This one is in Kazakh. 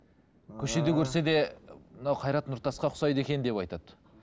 көшеде көрсе де мынау қайрат нұртасқа ұқсайды екен деп айтады